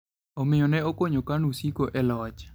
Omiyo ne okonyo KANU siko e loch.